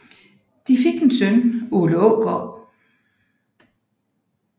De fik en søn Ole Aagaard